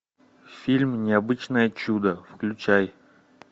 фильм необычное чудо включай